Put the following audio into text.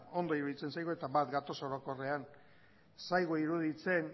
ondo iruditzen zaigu eta bat gatoz orokorrean ez zaigu iruditzen